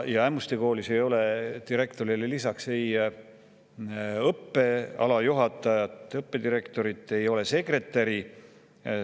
Ämmuste Koolis ei ole direktorile lisaks ei õppealajuhatajat, õppedirektorit ega sekretäri.